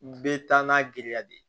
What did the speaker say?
Bɛ taa n'a girinya de ye